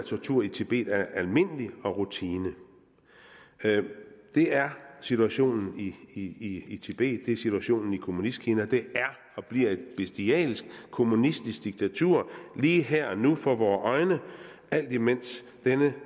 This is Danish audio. tortur i tibet er almindelig og rutine det er situationen i i tibet det er situationen i kommunistkina det er og bliver et bestialsk kommunistisk diktatur lige her og nu for vore øjne alt imens denne